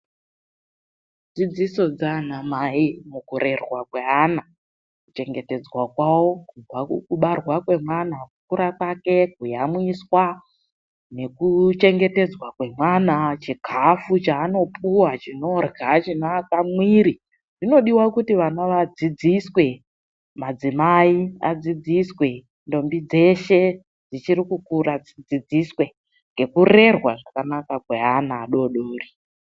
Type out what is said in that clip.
Dzidziso dza anamai mukurerwa kweana, kuchengetedzwa kwawo kubva mukubarwa kwemwana, kukura kwake, kuyamwiswa nekuchengetedzwa kwemwana chikhafu cheanopuwa cheanorya chinoaka mwiri. Zvinodiwa kuti vana vadzidziswe, madzimai adzidziswe, ndombi dzeshe dzichiri kukura dzidzidziswe. Ngekurerwa zvakanaka kweana adoodori.